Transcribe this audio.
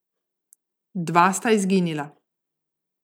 Dva sta izginila.